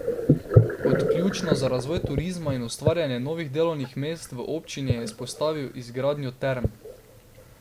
Kot ključno za razvoj turizma in ustvarjanje novih delovnih mest v občini je izpostavil izgradnjo term.